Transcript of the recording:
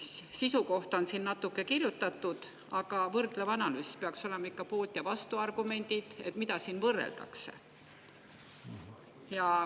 Sisu kohta on siin natukene kirjutatud, aga võrdlevas analüüsis peaks olema ikka poolt‑ ja vastuargumendid, mida võrreldakse.